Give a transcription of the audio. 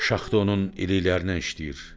Şaxta onun iliklərindən işləyir.